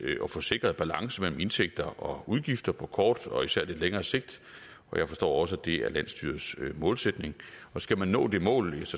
at få sikret en balance mellem indtægter og udgifter på kort og især lidt længere sigt og jeg forstår også at det er landsstyrets målsætning og skal man nå det mål